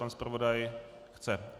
Pan zpravodaj chce.